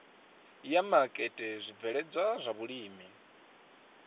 ya maketa zwibveledzwa zwa vhulimi